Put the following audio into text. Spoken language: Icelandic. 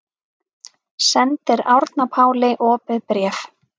Sendir Árna Páli opið bréf